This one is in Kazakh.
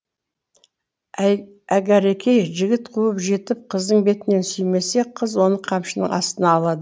әгәрікей жігіт қуып жетіп қыздың бетінен сүймесе қыз оны қамшының астына алады